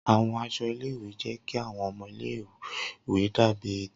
Awọn aṣọ ile-iwe jẹ ki awọn ọmọ ile-iwe dabi eto.